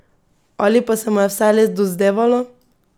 Ali pa se mu je vse le dozdevalo?